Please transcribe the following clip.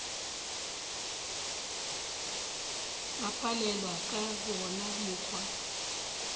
ba palelwa ka wona mokgwa